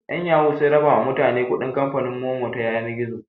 'Yan yahoo sun raba ma mutane kuɗin kamfanin Momo ta yanar gizo.